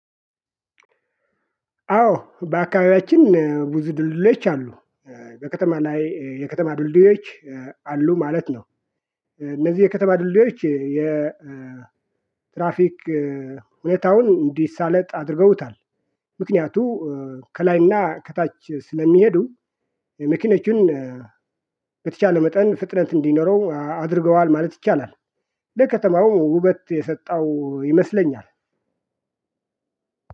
አዎ በአካባቢያችን ብዙ ድልድዮች አሉ በከተማ ላይ የከተማ ድልድዮች አሉ ማለት ነው። እነዚህ የከተማ ድልድዮች የትራፊክ ሁኔታውን እንዲሳለጥ አድርገውታል። ምክንያቱ ከላይና ከታች ስለሚሄዱ የመኪኖችን በተቻለ መጠን ፍጥነት እንዲኖረው አድርገዋል ማለት ይቻላል። ለከተማው ውበት የሰጠው ይመስለኛል።